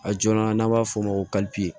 A joona n'a b'a f'o ma ko